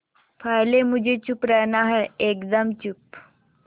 पहले मुझे चुप रहना है एकदम चुप